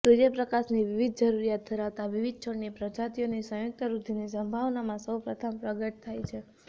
સૂર્યપ્રકાશની વિવિધ જરૂરિયાત ધરાવતા વિવિધ છોડની પ્રજાતિઓની સંયુક્ત વૃદ્ધિની સંભાવનામાં સૌ પ્રથમ પ્રગટ થાય છે